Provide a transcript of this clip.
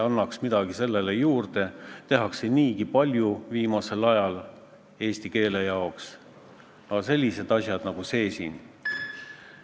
Mulle jäi ettekandest mulje, et Ilmar Tomusk on selle eelnõuga nõus, aga istungi protokoll ütleb, et Ilmar Tomusk avaldas arvamust, et füüsilise isiku puhul võiks sunniraha ülemmäär jääda selliseks, nagu see keeleseaduses on: 640 eurot.